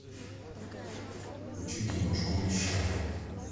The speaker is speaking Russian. включи киношку мещане